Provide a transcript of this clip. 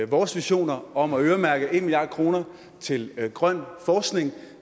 vores visioner om at øremærke en milliard kroner til grøn forskning